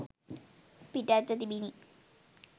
පිටත්ව තිබිණි.